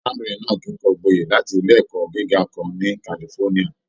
Arábìnrin náà kẹkọọ gbọye láti ilé ẹkọ gíga kan ni California.